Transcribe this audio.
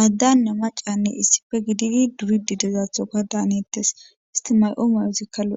aaddanna macanne issife gididi duridi dezaathoka daanettes isti ma'o mayozikka lo'es